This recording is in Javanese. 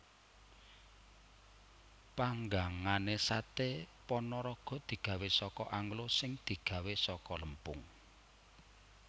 Panggangané saté Panaraga digawé saka anglo sing digawé saka lempung